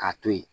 K'a to ye